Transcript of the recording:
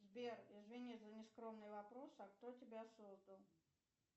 сбер извини за нескромный вопрос а кто тебя создал